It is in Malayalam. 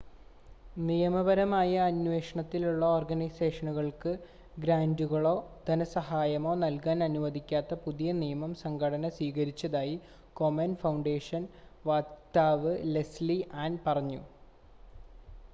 നിയമപരമായ അന്വേഷണത്തിലുള്ള ഓർഗനൈസേഷനുകൾക്ക് ഗ്രാൻ്റുകളോ ധനസഹായമോ നൽകാൻ അനുവദിക്കാത്ത പുതിയ നിയമം സംഘടന സ്വീകരിച്ചതായി കോമെൻ ഫൗണ്ടേഷൻ്റെ വക്താവ് ലെസ്ലി ആൻ പറഞ്ഞു